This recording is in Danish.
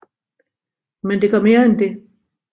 Men det gør mere end det